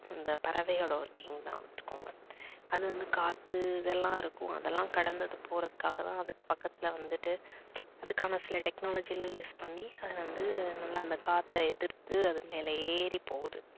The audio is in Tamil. அந்த பறவை ஓட working தான் வச்சுக்கோங்க. அது வந்து காத்து இதெல்லாம் இருக்கும் அதெல்லாம் கடந்த அது போறதுக்காக தான் அதுக்கு பக்கத்துல வந்துட்டு அதுக்கான சில technology எல்லாம் use பண்ணி அது வந்து நல்லா அந்த காத்த எதிர்த்து அது மேல ஏறிப் போகுது.